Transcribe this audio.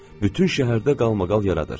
Bütün şəhərdə qalmaqal yaradır.